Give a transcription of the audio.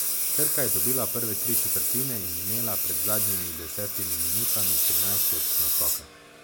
Krka je dobila prve tri četrtine in imela pred zadnjimi desetimi minutami trinajst točk naskoka.